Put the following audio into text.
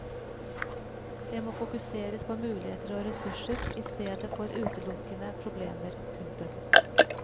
Det må fokuseres på muligheter og ressurser i stedet for utelukkende problemer. punktum